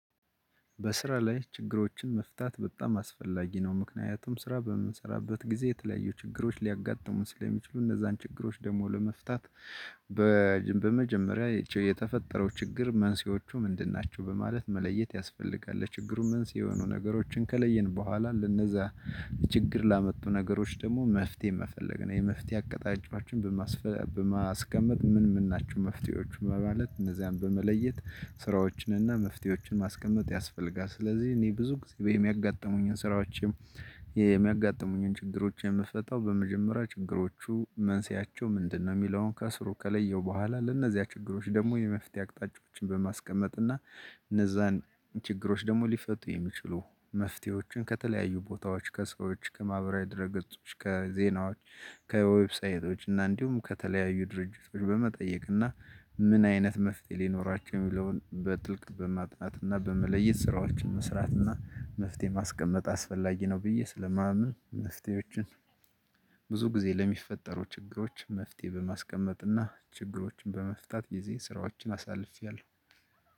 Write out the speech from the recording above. በስራ ላይ ችግሮችን መፍታት በጣም አስፈላጊ ነው። ምክንያቱም ስራ በምንሰራበት ጊዜ የተለያዩ ችግሮች ሊያጋጥሙን ስለሚችሉ እነዛን ችግሮች ደግሞ ለመፍታት በመጀመሪያ የተፈጠረው ችግር መንስኤዎቹ ምንድን ናቸው በማለት መለየት ያስፈልጋል ለችግሩ መንስኤ የሆኑ ነገሮችን ከለየን በኋላ ለነዛ ችግር ላመጡ ነገሮች ደግሞ መፍትሄ መፈለግ ነው የመፍትሄ አቀጣጫዎቹ በማስቀመጥ ምን ምን ናችው መፍትሄዎች በማለት እነዚያን በመለየት ስራዎችንና መፍትሄዎችን ማስቀመጥ ያስፈልጋል ስለዚህ እኔ ብዙ ጊዜ የሚያጋጥሙኝን ስራዎችም የሚያጋጥሙኝን ችግሮች የምፈታው በመጀመሪያ ችግሮቹ መንሴያቸው ምንድነው የሚለውን ከስሩ ከለየው በኋላ ለእነዚያ ችግሮች ደግሞ የመፍትሄ አቅጣጫዎችን በማስቀመጥ እና እነዛን ችግሮች ደግሞ ሊፈቱ የሚችሉ መፍትሄዎችን ከተለያዩ ቦታዎች ከሰዎች ከማህበራዊ ድህረገፅች ከዜናዎች ከዌብሳይቶች እና እንዲሁም ከተለያዩ ድርጅቶች በመጠየቅ እና ምን አይነት መፍትሄ ሊኖራቸው የሚለውን በጥልቅ በማጥናት እና በመለየት ስራዎች መስራት እና መፍትሄ ማስቀመጥ አስፈላጊ ነው ብዬ ስለማምን መፍትሄዎችን ብዙ ጊዜ ለሚፈጠሩ ችግሮች መፍትሄ በማስቀመጥና ችግሮችን በመፍታት ጊዜ ስራዎችን አሳልፌያለሁ።